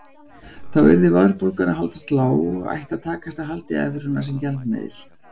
Þá yrði verðbólgan að haldast lág ætti að takast að halda í evruna sem gjaldmiðil.